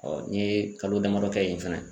n ɲe kalo damadɔ kɛ yen fana.